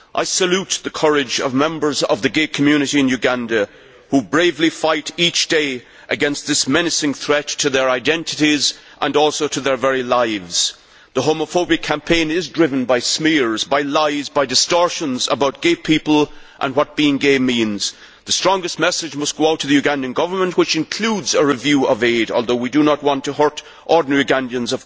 I salute the courage of members of the gay community in Uganda who bravely fight each day against this menacing threat to their identities and their very lives. The homophobic campaign is driven by smears, lies and distortions about gay people and what being gay means. The strongest message must go out to the Ugandan Government including a review of aid, although, of course, we do not want to hurt ordinary Ugandans.